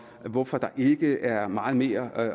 hvorfor der ikke er meget mere